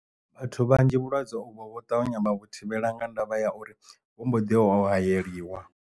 Vhathu vhanzhi vhulwadze uvho vho ṱavhanya vha vhu thivhela nga ndavha ya uri vho mboḓi yo hayeliwa.